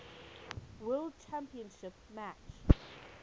world championship match